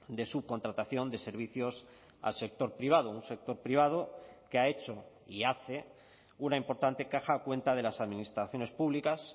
de subcontratación de servicios al sector privado un sector privado que ha hecho y hace una importante caja a cuenta de las administraciones públicas